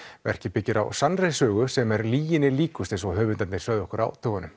verkið byggir á sannri sögum sem er lyginni líkust eins og höfundarnir sögðu okkur á dögunum